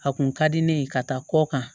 A kun ka di ne ye ka taa kɔ kan